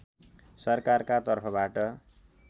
सरकारका तर्फबाट